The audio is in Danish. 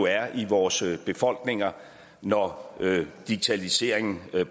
er i vores befolkninger når digitaliseringen